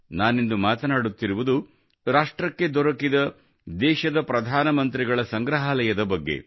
ನಾನಿಂದು ಮಾತನಾಡುತ್ತಿರುವುದು ರಾಷ್ಟ್ರಕ್ಕೆ ದೊರಕಿದ ದೇಶದ ಪ್ರಧಾನ ಮಂತ್ರಿಗಳ ಸಂಗ್ರಹಾಲಯದ ಬಗ್ಗೆ